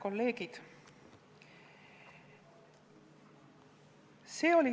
Head kolleegid!